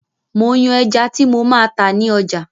Mo ń yàn ẹja tí mo máa tá ni ọjà